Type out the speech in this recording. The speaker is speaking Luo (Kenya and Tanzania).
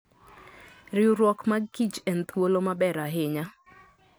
Riwruok mag kich en thuolo maber ahinya.